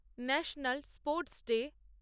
national sports day